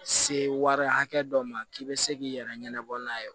Se wari hakɛ dɔ ma k'i bɛ se k'i yɛrɛ ɲɛnabɔ n'a ye